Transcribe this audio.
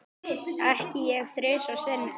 Ekki ég þrisvar sinnum.